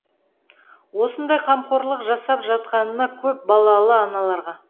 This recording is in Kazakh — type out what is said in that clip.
осындай қамқорлық жасап жатқанына көп балалы аналарға